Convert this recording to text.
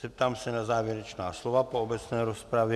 Zeptám se na závěrečná slova po obecné rozpravě?